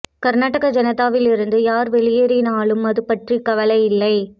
கர்நாடக ஜனதாவில் இருந்து யார் வெளியேறினாலும் அதுபற்றி கவலை இல்லை